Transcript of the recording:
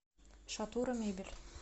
шатура мебель